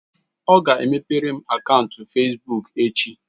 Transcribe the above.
Ọ ga-emepere m akaụntụ fesbuk echi